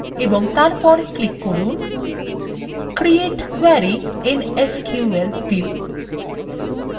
এবং তারপর click করুন create query in sql view